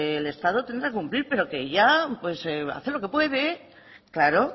el estado tendrá que cumplir pero que ella hace lo que puede claro